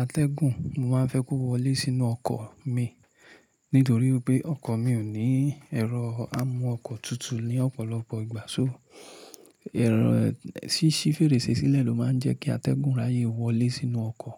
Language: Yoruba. atẹ́gùn, mo máa ń fẹ́ kó wọlé sínú ọkọ̀ mi nítorí pé ọkọ̀ mi ò ní ẹ̀rọ amú ọkọ̀ tutu ní ọ̀pọ̀lọpọ̀ ìgbà. Ṣó, ẹ̀rọ ṣí ṣi fèrèsé sílẹ̀ ló máa ń jẹ́ kí atẹ́gùn ráyè wọlé sínú ọkọ̀